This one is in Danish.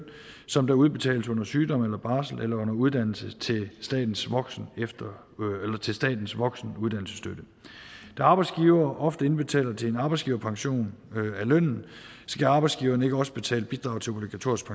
som der udbetales under sygdom eller barsel eller under uddannelse til statens til statens voksenuddannelsesstøtte da arbejdsgiver ofte indbetaler til en arbejdsgiverpension af lønnen skal arbejdsgiveren ikke også betale bidrag til obligatorisk